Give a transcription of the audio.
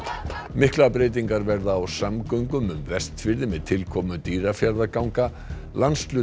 miklar breytingar verða á samgöngum um Vestfirði með tilkomu Dýrafjarðarganga